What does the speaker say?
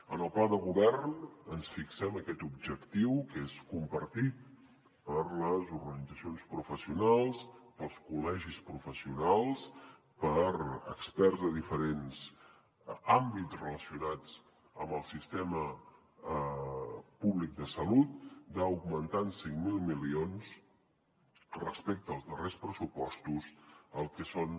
en el pla de govern ens fixem aquest objectiu que és compartit per les organitzacions professionals pels col·legis professionals per experts de diferents àmbits relacionats amb el sistema públic de salut d’augmentar en cinc mil milions respecte als darrers pressupostos el que són